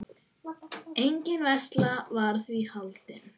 Engin veisla var því haldin.